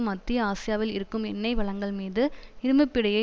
மத்திய ஆசியாவில் இருக்கும் எண்ணெய் வளங்கள்மீது இரும்பு பிடியை